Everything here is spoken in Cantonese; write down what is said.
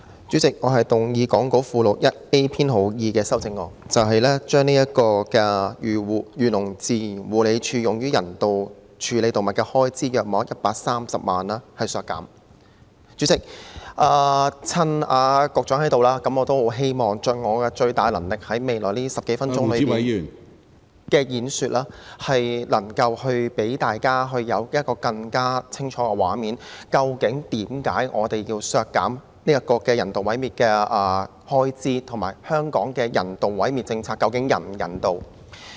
主席，我動議講稿附錄 1A 編號2的修正案，削減漁農自然護理署用於人道處理動物的開支約130萬元。主席，趁局長在席，我希望盡最大能力，在未來10多分鐘的演說，給大家一個更清晰的畫面，了解為何我們要求削減人道毀滅的開支，以及香港的人道毀滅政策究竟是否人道。